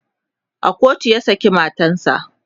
a kotu ya saki matansa